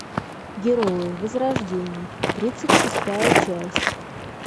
герои возрождение тридцать шестая часть